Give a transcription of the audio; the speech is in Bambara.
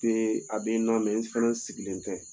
a bɛ n na n fana sigilen tɛ.